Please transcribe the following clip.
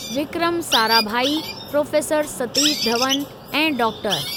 Vikram Sarabhai, professor Satish Dhawan ऐं डॉ. ।